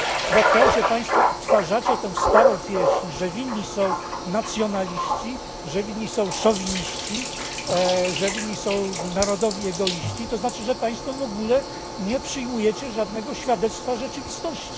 Bo to, że państwo odtwarzacie tę starą pieśń, że winni są nacjonaliści, że winni są szowiniści, że winni są narodowi egoiści, oznacza, że państwo w ogóle nie przyjmujecie żadnego świadectwa rzeczywistości.